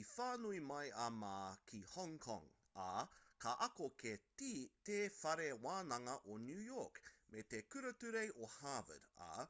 i whānau mai a ma ki hong kong ā ka ako ki te whare wānanga o new york me te kura ture o harvard ā